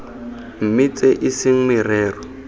mme tse e seng merero